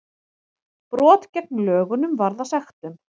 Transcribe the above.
Brot gegn lögunum varða sektum